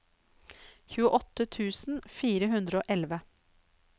tjueåtte tusen fire hundre og elleve